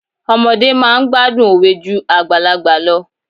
Ọmọdé máa ń gbádùn òwe ju àgbàlagbà lọ.